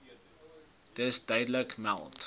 dus duidelik meld